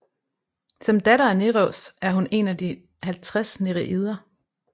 Som datter af Nereus er hun en af de 50 nereider